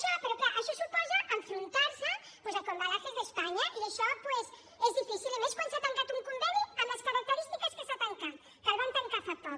però clar això suposa enfrontar se doncs amb ecoembalajes españa i això és difícil i més quan s’ha tancat un conveni amb les característiques que s’hi ha tancat que el van tancar fa poc